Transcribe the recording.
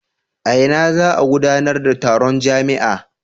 A ina za a gudanar da taron jami'a?